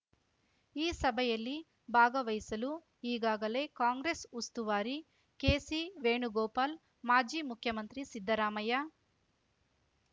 ಈ ಸಭೆಯಲ್ಲಿ ಬಾಗವಹಿಸಲು ಈಗಾಗಲೇ ಕಾಂಗ್ರೆಸ್ ಉಸ್ತುವಾರಿ ಕೆಸಿ ವೇಣುಗೋಪಾಲ್ ಮಾಜಿ ಮುಖ್ಯಮಂತ್ರಿ ಸಿದ್ದರಾಮಯ್ಯ